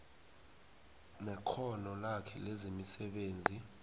nekghono lakhe lomsebenzi